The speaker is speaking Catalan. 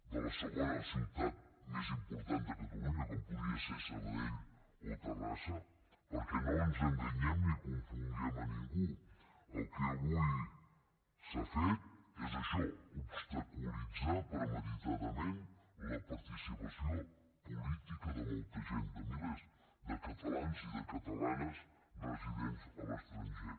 de la segona ciutat més important de catalunya com podia ser sabadell o terrassa perquè no ens enganyem ni confonguem a ningú el que avui s’ha fet és això obstaculitzar premeditadament la participació política de molta gent de milers de catalans i de catalanes residents a l’estranger